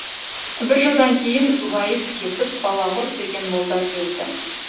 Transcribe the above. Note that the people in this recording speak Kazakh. бір жылдан кейін уәйіс кетіп балағұр деген молда келді